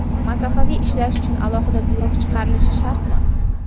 Masofaviy ishlash uchun alohida buyruq chiqarilishi shartmi?.